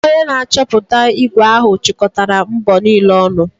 Onye na-achọpụta ígwè ahụ chịkọtara mbọ niile ọnụ.